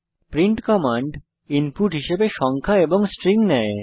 print command input হিসাবে সংখ্যা এবং স্ট্রিং নেয়